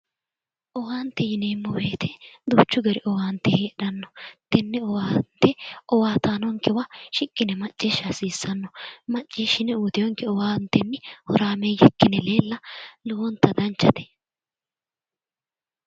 Owaante yineemmo woyite duuchu dani owaante heedhanno. Tenne owaante owaataanonkewa shiqqi yine macciishsha hasiissanno. Macciishshine uyitiwonke owaantenni horaameeyye ikkine leella lowonta danchate.